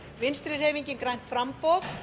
vinstri hreyfingin grænt framboð